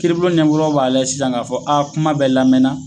Kiiribulon b'a lajɛ sisan k'a fɔ a kuma bɛ lamɛna